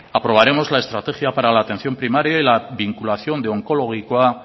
aprobaremos la estrategia para la atención primaria y la vinculación de onkologikoa